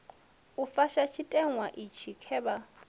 u fusha tshiteṅwa itshi khevha